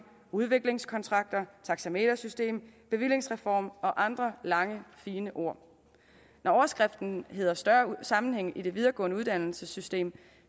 udviklingskonstrakter taxametersystem bevillingsreform og andre lange fine ord når overskriften hedder større sammenhæng i det videregående uddannelsessystem